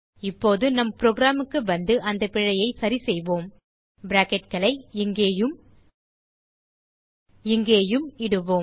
இப்போது நம் புரோகிராம் க்கு வந்து அந்த பிழையைச் சரிசெய்வோம் பிராக்கெட்களை இங்கேயும் இங்கேயும் இடுவோம்